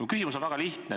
Mu küsimus on väga lihtne.